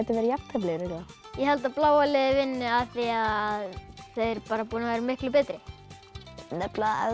verið jafntefli ég held að bláa liðið vinni af því að þau eru bara búin að vera miklu betri nefnilega